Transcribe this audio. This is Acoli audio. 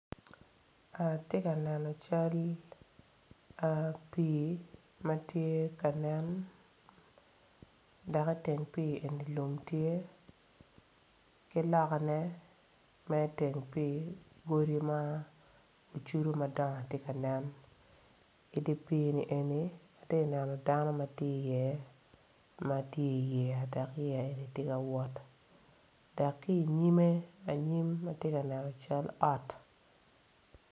Atye ka neno cal pii matye ka nen dok i teng pii eni lum tye ki loka ne me teng pii godi ma kicudo madong tye ka nen i di pii ni eni atye neno dano matye i ye matye i yeya dok yeya eni tye ka wot, dok kinyime anyim atye ka neno cal ot.